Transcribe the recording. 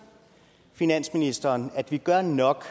finansministeren at vi gør nok